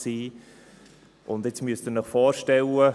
Nun müssen Sie sich vorstellen: